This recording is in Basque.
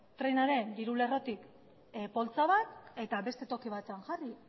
trenaren diru lerrotik poltsa bat eta beste toki batean jarri